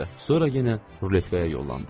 Sonra yenə ruletkaya yollandıq.